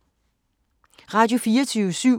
Radio24syv